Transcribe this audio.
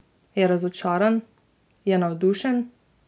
Je razočaran, je navdušen?